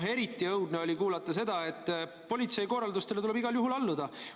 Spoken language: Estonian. Ja eriti õudne oli kuulata seda, et politsei korraldustele tuleb igal juhul alluda.